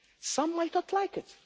Some might not like it